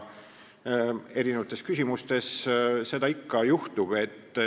Mitmesugustes küsimustes seda ikka juhtub.